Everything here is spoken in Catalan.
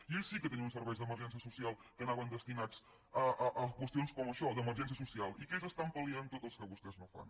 i ells sí que tenien uns serveis d’emergència social que anaven destinats a qüestions com això d’emergència social i ells estan pal·liant tot el que vostès no fan